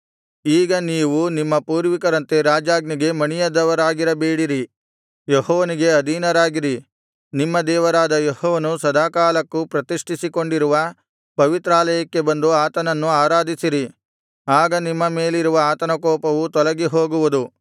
ಈಗ ನೀವು ನಿಮ್ಮ ಪೂರ್ವಿಕರಂತೆ ರಾಜಾಜ್ಞೆಗೆ ಮಣಿಯದವರಾಗಿರಬೇಡಿರಿ ಯೆಹೋವನಿಗೆ ಅಧೀನರಾಗಿರಿ ನಿಮ್ಮ ದೇವರಾದ ಯೆಹೋವನು ಸದಾಕಾಲಕ್ಕೂ ಪ್ರತಿಷ್ಠಿಸಿಕೊಂಡಿರುವ ಪವಿತ್ರಾಲಯಕ್ಕೆ ಬಂದು ಆತನನ್ನು ಆರಾಧಿಸಿರಿ ಆಗ ನಿಮ್ಮ ಮೇಲಿರುವ ಆತನ ಉಗ್ರಕೋಪವು ತೊಲಗಿಹೋಗುವುದು